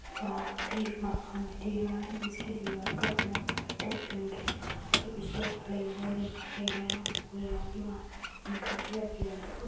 वहाँ पे एक मकान भी दिख रहा है जिसके दिवार का कलर वाइट और पिंक है कुछ लोग खड़े हुए दिखाई दे रहे हैं और फूलों की माला --